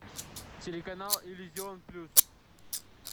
телеканал иллюзион плюс